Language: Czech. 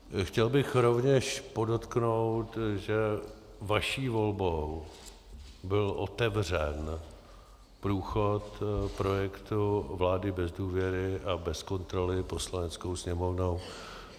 Chtěl bych rovněž podotknout, že vaší volbou byl otevřen průchod projektu vlády bez důvěry a bez kontroly Poslaneckou sněmovnou.